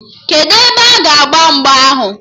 Kedụ ebe a ga agba mgba ahụ?